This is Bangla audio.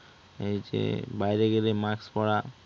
এই যে বাইরে গেলে mask পড়া